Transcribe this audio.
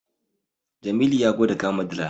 Jamilu ya gwada kama dila.